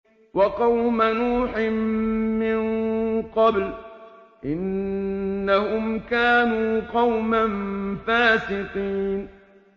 وَقَوْمَ نُوحٍ مِّن قَبْلُ ۖ إِنَّهُمْ كَانُوا قَوْمًا فَاسِقِينَ